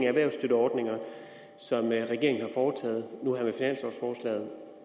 erhvervsstøtteordninger som regeringen har foretaget